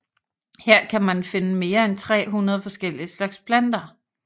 Her kan man finde mere end 300 forskellige slags planter